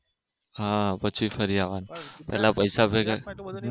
હા પછી ફરી આવાનું પેલા પૈસા ભેગા